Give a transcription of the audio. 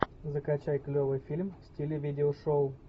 закачай клевый фильм в стиле видео шоу